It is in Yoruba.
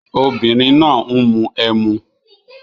Obìnrin náà ń mu emu